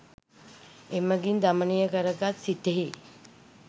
එමඟින් දමනය කරගත් සිතෙහි